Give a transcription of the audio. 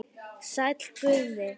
Sæll Guðni.